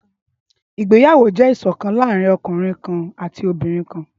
ìgbéyàwó jẹ iṣọkan laarin ọkunrin ati obinrin kan.